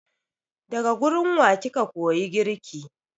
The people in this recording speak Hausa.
Daga gurin wa kika koyi girki?